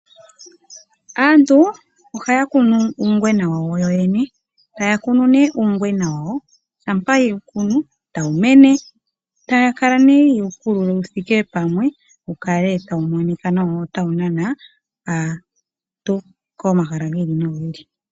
Aantu ohaya kunu uungwena wawo yoyene ,taya kunu nee uungwena shampa yewu kunu tawu mene, taya kala ha yewu kulula wuthike pamwe wukale tawu monika nawa wo otawu nana aantu komahala gi ili nogi ili.